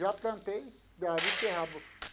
Já plantei a beterraba